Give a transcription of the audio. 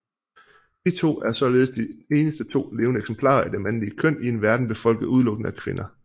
De to er således de eneste to levende eksemplarer af det mandlige køn i en verden befolket udelukkende af kvinder